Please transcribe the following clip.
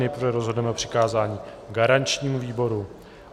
Nejprve rozhodneme o přikázání garančnímu výboru.